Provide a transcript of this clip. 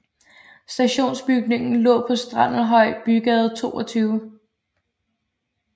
Stationsbygningen lå på Strandelhjørn Bygade 22